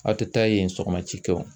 Aw tɛ taa yen sɔgɔma cikɛ wo